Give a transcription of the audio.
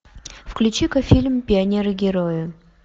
включи ка фильм пионеры герои